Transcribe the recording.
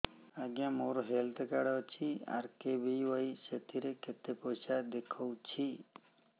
ଆଜ୍ଞା ମୋର health card ଅଛି ଆର୍.କେ.ବି.ୱାଇ ସେଥିରେ କେତେ ପଇସା ଦେଖଉଛି